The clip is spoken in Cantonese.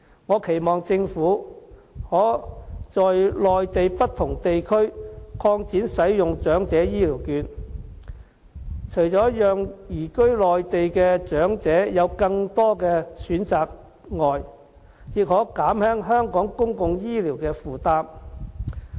我期望政府可在內地不同地區擴展使用長者醫療券，除了讓移居內地的長者有更多的選擇外，亦可減輕香港公共醫療的負擔。